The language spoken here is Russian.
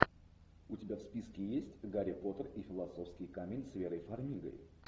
у тебя в списке есть гарри поттер и философский камень с верой фармигой